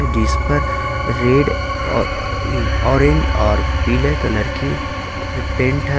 जिस पर red uh orange और पीले कलर की अह पेंट है।